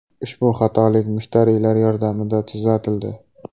Ushbu xatolik mushtariylar yordamida tuzatildi.